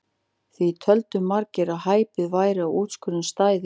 Því töldu margir að hæpið væri að úrskurðurinn stæðist.